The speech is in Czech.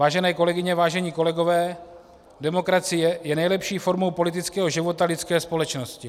Vážené kolegyně, vážení kolegové, demokracie je nejlepší formou politického života lidské společnosti.